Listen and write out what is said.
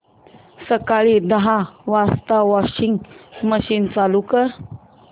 सकाळी दहा वाजता वॉशिंग मशीन चालू कर